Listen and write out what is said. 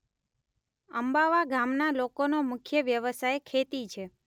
અંબાવા ગામના લોકોનો મુખ્ય વ્યવસાય ખેતી છે.